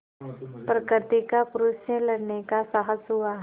प्रकृति का पुरुष से लड़ने का साहस हुआ